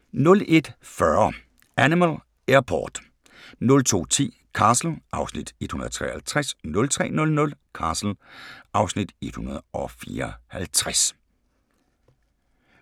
01:40: Animal Airport 02:10: Castle (Afs. 153) 03:00: Castle (Afs. 154)